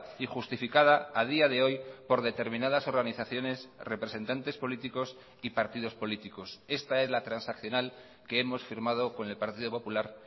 y justificada a día de hoy por determinadas organizaciones representantes políticos y partidos políticos esta es la transaccional que hemos firmado con el partido popular